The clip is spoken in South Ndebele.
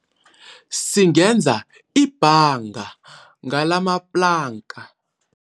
Singenza ibhanga ngalamaplanka.